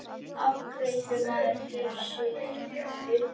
Afgreiðslumaðurinn gerir sér upp undrun.